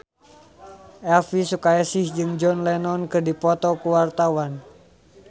Elvi Sukaesih jeung John Lennon keur dipoto ku wartawan